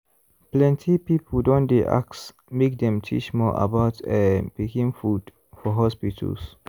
plenty people don dey ask make dem teach more about um pikin food for hospitals.